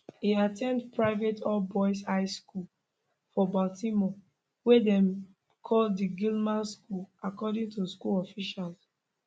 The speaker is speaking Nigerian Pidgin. e at ten d private allboys high school for baltimore wey dem call di gilman school according to school officials